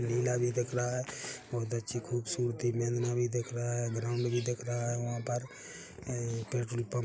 नीला भी दिख रहा है बहुत अच्छी खूबसूरती भी दिख रहा है और ग्राउंड भी दिख रहा है वहां पर पेट्रोल पंप --